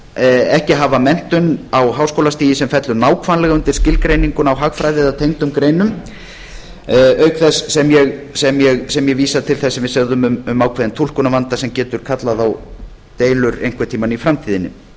sem ekki hafa menntun á háskólastigi sem fellur nákvæmlega undir skilgreininguna á hagfræði eða tengdum greinum auk þess sem ég vísa til þess sem við sögðu um ákveðinn túlkunarvanda sem getur kallað á deilur einhvern tíma í framtíðinni við teljum að slík